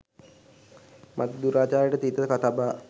මතට දුරාචාරයට තිත තබා